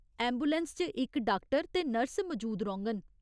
Ambulance च इक doctor ते नर्स मजूद रौह्ङन।